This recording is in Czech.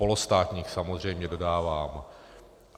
Polostátních samozřejmě, dodávám.